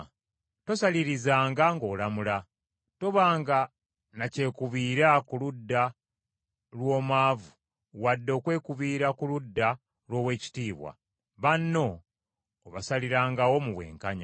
“Tosalirizanga ng’olamula; tobanga na kyekubiira ku ludda lw’omwavu wadde okwekubiira ku ludda lw’ow’ekitiibwa, banno obasalirangawo mu bwenkanya.